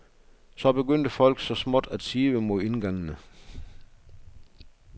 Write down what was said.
Så begyndte folk så småt at sive mod indgangene.